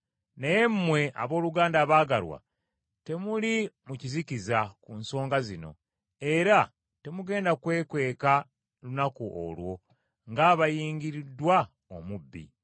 Naye mmwe, abooluganda abaagalwa temuli mu kizikiza ku nsonga zino, era temugenda kwekanga lunaku olwo ng’abayingiriddwa omubbi;